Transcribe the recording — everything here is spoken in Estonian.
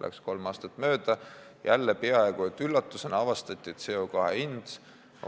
Läks kolm aastat mööda, jälle peaaegu et üllatusena avastati, et CO2 ühiku hind